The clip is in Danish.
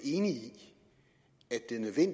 enig